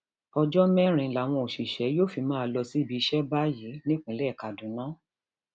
ọjọ mẹrin làwọn òṣìṣẹ yóò fi máa lọ síbi iṣẹ báyìí nípínlẹ kaduna